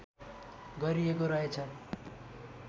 गरिएको रहेछ